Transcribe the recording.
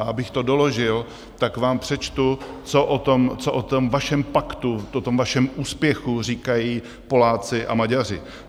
A abych to doložil, tak vám přečtu, co o tom vašem paktu, o tom vašem úspěchu říkají Poláci a Maďaři.